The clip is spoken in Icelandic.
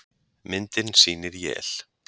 Myndin sýnir él.